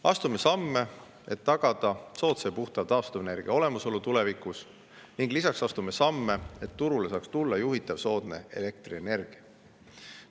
Astume samme, et tagada soodsa ja puhta taastuvenergia olemasolu tulevikus, ning lisaks astume samme, et turule saaks tulla juhitav soodne elektrienergia.